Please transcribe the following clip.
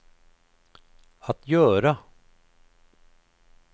att göra